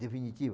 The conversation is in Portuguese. Definitivo.